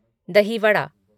दही वड़ा